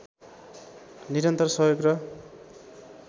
निरन्तर सहयोग र